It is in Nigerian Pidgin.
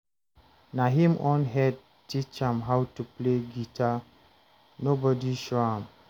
Na him own head teach am how to play guitar, nobody show am